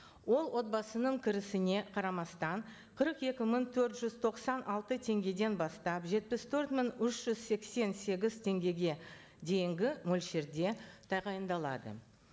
ол отбасының кірісіне қарамастан қырық екі мың төрт жүз тоқсан алты теңгеден бастап жетпіс төрт мың үш жүз сексен сегіз теңгеге дейінгі мөлшерде тағайындалады